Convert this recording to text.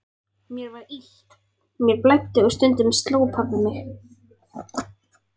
Mér var illt, mér blæddi og stundum sló pabbi mig.